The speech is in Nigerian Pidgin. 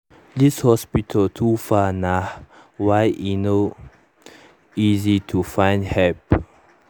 this hospital too far nah why e no easy to find help